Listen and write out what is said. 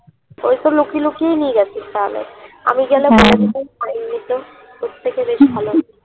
ঐতো লুকিয়ে লুকিয়ে নিয়ে গেছিস তাহলে আমি গেলে . তোর থেকে বেশি ভালো হতো"